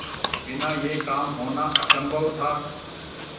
बिना यह काम होना असम्भव था